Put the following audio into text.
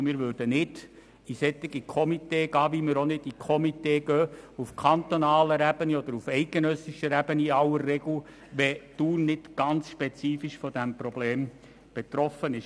Einem solchen Komitee würden wir nicht beitreten, so wie wir in der Regel auch keinem Komitee auf kantonaler oder eidgenössischer Ebene beitreten würden, wenn Thun von einem Problem nicht ganz spezifisch betroffen ist.